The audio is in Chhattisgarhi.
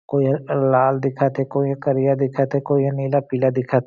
कोई ह लाल दिखत हे कोई ह करिया दिखत हे कोई ह नीला पीला दिखत--